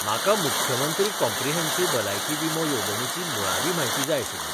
म्हाका मुख्यमंत्री कॉम्प्रिहेंसिव भलायकी विमो येवजणेची मुळावी म्हायती जाय आशिल्ली.